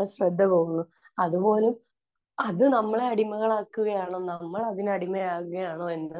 ആ ശ്രദ്ധ പോകുന്നു. അത് പോലും...അത് നമ്മളെ അടിമകളാക്കുകയാണോ നമ്മൾ അതിന് അടിമയാകുകയാണോയെന്ന്